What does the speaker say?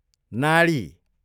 नाडी